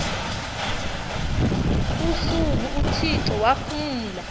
usuku uthixo waphumla